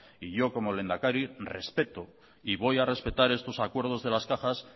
y yo como lehendakari respeto y voy a respetar estos acuerdos de las cajas